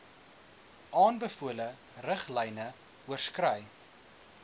aanbevole riglyne oorskry